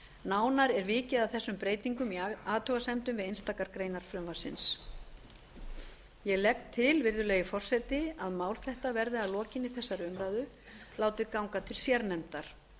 nánar er vikið að þessum breytingum í athugasemdum við einstakar greinar frumvarpsins ég legg til virðulegi forseti að mál þetta verði að lokinni þessari umræðu látið ganga til sérnefndar